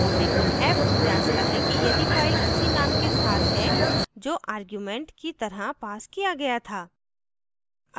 hyphen f जाँचता है कि यदि file उसी name के साथ है जो argument की तरह पास किया गया था